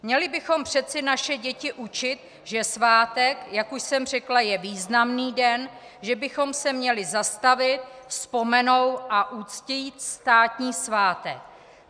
Měli bychom přeci naše děti učit, že svátek, jak už jsem řekla, je významný den, že bychom se měli zastavit, vzpomenout a uctít státní svátek.